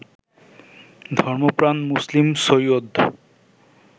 ধর্মপ্রাণ মুসলিম সৈয়দ